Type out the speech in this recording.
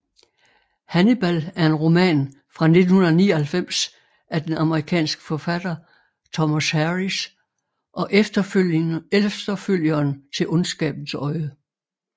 Hannibal er en roman fra 1999 af den amerikanske forfatter Thomas Harris og efterfølgeren til Ondskabens Øjne